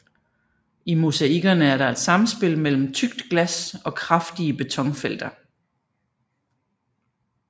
I mosaikkerne er der et samspil mellem tykt glas og kraftige betonfelter